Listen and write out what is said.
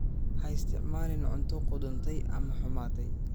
Ha isticmaalin cunto qudhuntay ama xumaatay.